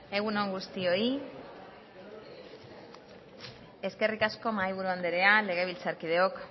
egun on guztioi eskerrik asko mahaiburu andrea legebiltzarkideok